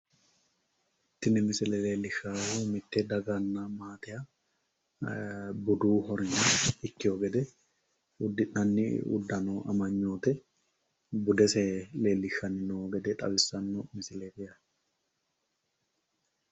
tini misile leellishshaahu mitte daganna maatenniha ee budu hornya ikkino gede uddi'nanni uddano amanyote budese leellishshanno woyi xawissanno misileeti